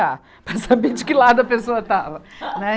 Para saber de que lado a pessoa estava, né.